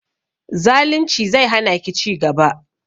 Zalunci zai hana ki ci gaba